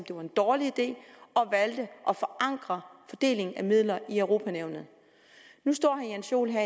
det var en dårlig idé og valgte at forankre fordelingen af midler i europa nævnet nu står herre jens joel her